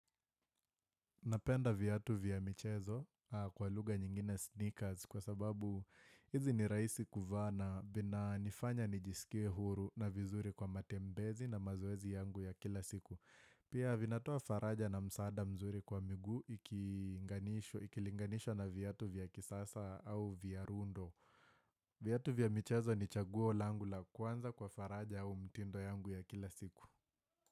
Napenda vyatu vya michezo kwa lugha nyingine, sneakers, kwa sababu hizi ni rahisi kuvaa na vinanifanya nijisikie huru na vizuri kwa matembezi na mazoezi yangu ya kila siku. Pia vinatoa faraja na msaada mzuri kwa miguu ikilinganishwa na vyatu vya kisasa au vya rundo. Vyatu vya michezo ni chaguo langu la kwanza kwa faraja au mtindo yangu ya kila siku.